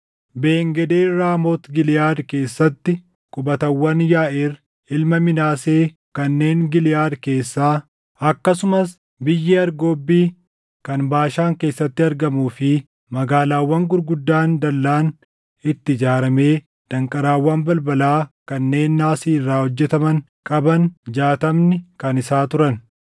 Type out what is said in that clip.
Ben-Geeber Raamoot Giliʼaad keessatti qubatawwan Yaaʼiir ilma Minaasee kanneen Giliʼaad keessaa, akkasumas biyyi Argobbi kan Baashaan keessatti argamuu fi magaalaawwan gurguddaan dallaan itti ijaaramee danqaraawwan balbalaa kanneen naasii irraa hojjetaman qaban jaatamni kan isaa turan.